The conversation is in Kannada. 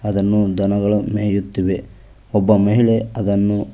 ಇದನ್ನು ದನಗಳು ಮೇಯುತ್ತಿವೆ ಒಬ್ಬ ಮಹಿಳೆ ಅದನ್ನು--